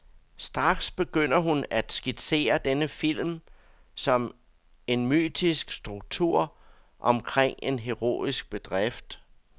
Straks begynder hun at skitsere denne film som en mytisk struktur omkring en heroisk bedrift.